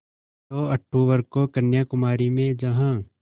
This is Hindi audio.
दो अक्तूबर को कन्याकुमारी में जहाँ